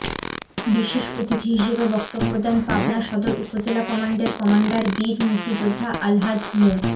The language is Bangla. বিশেষ অতিথি হিসেবে বক্তব্য দেন পাবনা সদর উপজেলা কমান্ডের কমান্ডার বীর মুক্তিযোদ্ধা আলহাজ মো